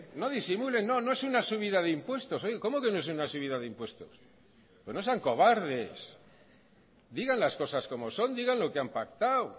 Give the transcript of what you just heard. no no es una subida de impuestos cómo que no es una subida de impuesto pero no sean cobardes digan las cosas como son digan lo que han pactado